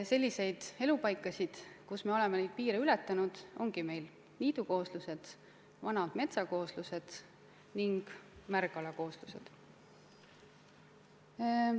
Sellised elupaigad, kus me oleme selle piiri ületanud, ongi meil niidukooslused, vanad metsakooslused ning märgala kooslused.